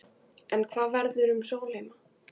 En hvað verður um Sólheima?